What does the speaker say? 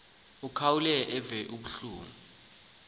akhawuleze eve kuba